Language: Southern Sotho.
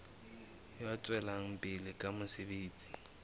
ya tswelang pele ka mosebetsi